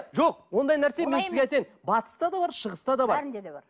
жоқ ондай нәрсе мен сізге айтайын батыста да бар шығыста да бар бәрінде де бар